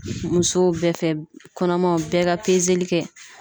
Musow bɛɛ fɛ kɔnɔmaw bɛɛ ka kɛ.